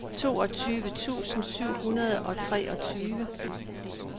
toogtyve tusind syv hundrede og treogtyve